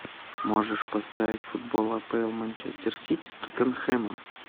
можешь поставить футбол апл манчестер сити с тоттенхэмом